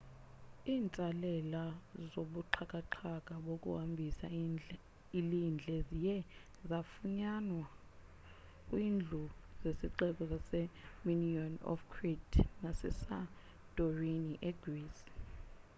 iintsalela zobuxhakaxhaka bokuhambisa ilindle ziye zafunyanwa kwizindlu zesixeko sase minoan of crete nase santorini e greece